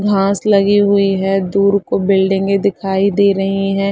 घांस लगी हुई है दूर को बिल्डिंगे दिखाई दे रहीं हैं।